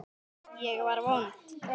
Ég var vond.